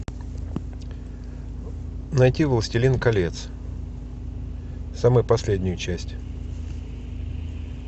найти властелин колец самую последнюю часть